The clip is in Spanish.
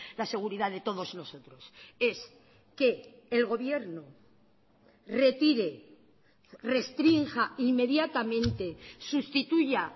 la seguridad de todos nosotros es que el gobierno retire restrinja inmediatamente sustituya